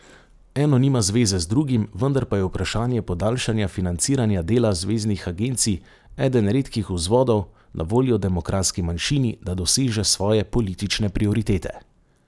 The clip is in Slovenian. Eno nima zveze z drugim, vendar pa je vprašanje podaljšanja financiranja dela zveznih agencij eden redkih vzvodov na voljo demokratski manjšini, da doseže svoje politične prioritete.